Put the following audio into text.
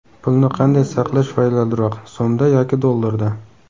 Pulni qanday saqlash foydaliroq: So‘mda yoki dollarda?.